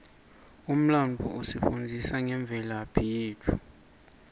umlandvo usifundzisa ngemvelaphi yetfu